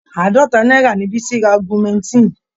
Àádọ́ta náírà ni Bísí ra augmentin.